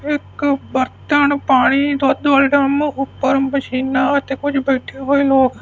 ਇਕ ਬਰਤਨ ਪਾਣੀ ਦੁੱਧ ਵਾਲੇ ਡਰਮ ਉੱਪਰ ਮਸ਼ੀਨਾ ਤੇ ਕੁਝ ਬੈਠੇ ਹੋਏ ਲੋਕ --